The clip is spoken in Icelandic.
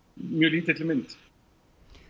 mjög lítilli mynd